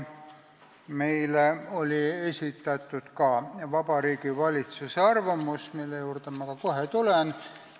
Meile oli esitatud ka Vabariigi Valitsuse arvamus, mille juurde ma kohe tulen.